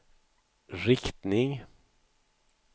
riktning